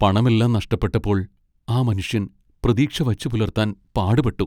പണമെല്ലാം നഷ്ടപ്പെട്ടപ്പോൾ ആ മനുഷ്യൻ പ്രതീക്ഷ വച്ചുപുലർത്താൻ പാടുപെട്ടു .